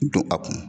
Don a kun